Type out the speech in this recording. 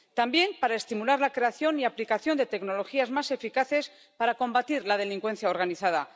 También, para estimular la creación y aplicación de tecnologías más eficaces para combatir la delincuencia organizada.